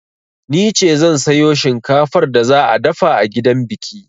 Nice zan sayo shinkafar da za a dafa a gidan biki.